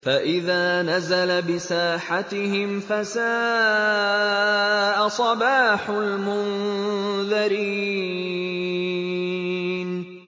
فَإِذَا نَزَلَ بِسَاحَتِهِمْ فَسَاءَ صَبَاحُ الْمُنذَرِينَ